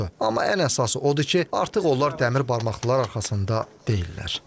Amma ən əsası odur ki, artıq onlar dəmir barmaqlılar arxasında deyillər.